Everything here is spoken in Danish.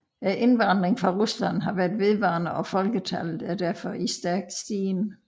Indvandringen fra Rusland har været vedvarende og folketallet derfor i stærk stigen